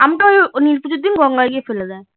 আমি তো ওই নীল পুজোর দিন গঙ্গা গিয়া ফেলা দেয়